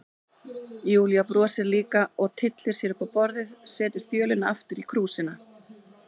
Júlía brosir líka og tyllir sér upp á borðið, setur þjölina aftur í krúsina.